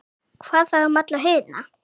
Hvað þá um alla hina?